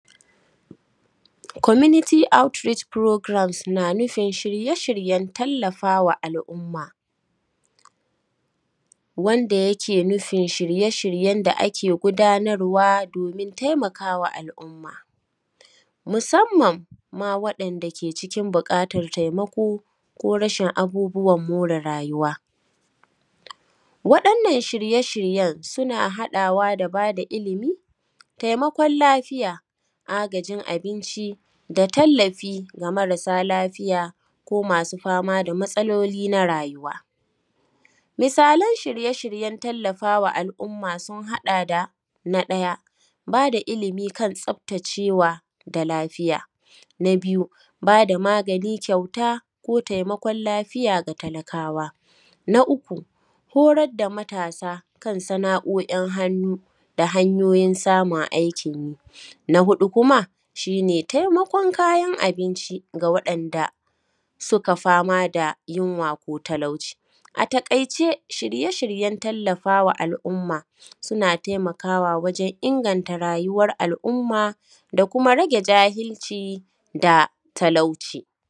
Wannan mutum ne gashi nan, mutum ne gashi nan sanye da farin farin kya, ga shi nan a tsaye a jikin kaman gona ne ga shi nan dai kaman shuka nema n alkama ga shi nan duk ya bushe, wato ga shi nan ya ɗaga hannu, ya ɗaga hannu ya kalli sama alamun kaman yana roƙone, yana roƙon Allah ruwa ne ko irin wani abu da haka wato ga shi nan ya ƙaga hannu ya kalli sama yana roƙo ne kamar Allah ya saukar da ruwan sama ko kuma dai akan wani abu yake rokon Allah, aahh kasan idan akai shuka, babu ruwa shuka na bushewa, akan je ayi roƙon ruwa, don Allah ya saukar da ruwan sama wannan shuka ta samu tasami ruwa, wannan shuka ta sami ruwa tai ta ji daɗi ta nuna, har a cire wannan amfani Wato shine ga shi nan gashinan a cikin tsakiyar wannan shuka gayi nan ya ɗaga hannu sama, gayi nan ya ɗaga hannun shi guda biyu sama, ya kalli sama, yana roƙon Allah da akan ya biya mashi buƙatanshi, wato gaskiya, wannan ga shi nan, idan har wannan gonar ruwa yake da buƙata, to in ba ruwa wannan shuka, zai mutune, kaga yayi dabara da ya zo gayi nan ya zo yna roƙon Allah akan, ya biya mashi dukannin wani buƙatunshi, a to gayi nan dai, ya ɗaga hannu, hannuwan shi sama, yana ta roƙon yana roƙon Allah, ga yi nan ya kalli, ya ɗaga hannunshi ya kalli sama yana ta roƙon Allah ya saukad da ruwa, to kaga wannan shuka ga shi nan wuri ne faffaɗa, ga shi nan wuri ne sosai gayi nan anyi shuka sosai, ga yi nan a wannan wuri ga shi nan a cikin wannan shuka ya ɗaga hannunshi.